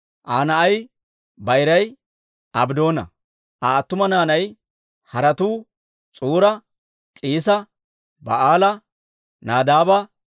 Aa na'ay bayiray Abddoona; Aa attuma naanay haratuu S'uura, K'iisa, Ba'aala, Nadaaba,